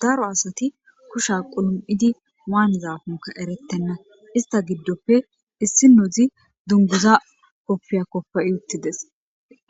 Daro asati kusha qulum'idi waanezaafunka erettenna ista giddoppe issi nodzi dunguza koppiya koppe'i uttides